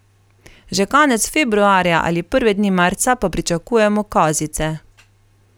Že konec februarja ali prve dni marca pa pričakujemo kozice.